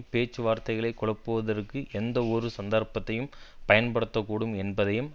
பேச்சுவார்த்தைகளை குழப்புவதற்கு எந்த ஒரு சந்தர்ப்பத்தையும் பயன்படுத்த கூடும் என்பதையும்